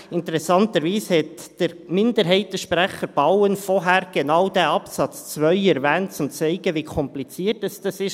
Interessanterweise hat Minderheitssprecher Bauen zuvor genau diesen Absatz 2 erwähnt, um zu zeigen, wie kompliziert dies ist.